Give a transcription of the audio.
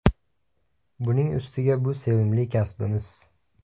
Buning ustiga bu sevimli kasbimiz.